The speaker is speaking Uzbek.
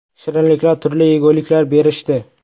Shirinliklar, turli yeguliklar berishdi.